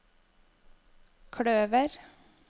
kløver